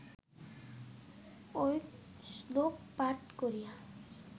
ঐ শ্লোক পাঠ করিয়া